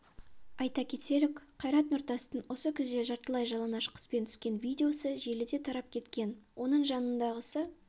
айта кетелік қайрат нұртастың осы күзде жартылай жалаңаш қызбен түскен видеосы желіде тарап кеткен оның жанындағысы